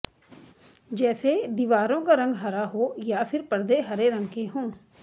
जैसे दीवारों का रंग हरा हो या फिर परदे हरे रंग के हों